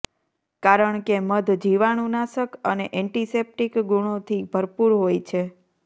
કારણ કે મધ જીવાણું નાશક અને એન્ટિસેપ્ટિક ગુણોથી ભરપૂર હોય છે